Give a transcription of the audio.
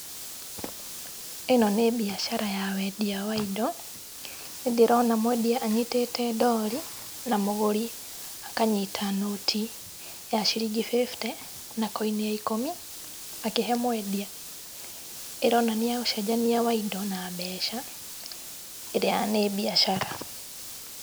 Ĩno nĩ mbiacara ya wendia wa indo. Nĩndĩrona mwendia anyitĩte ndori na mũgũri noti ya ciringi bĩbute na koini ya ikũmi akĩhe mwendia. Ĩronania ũcenjania wa indo na mbeca ĩrĩa nĩ mbiacara.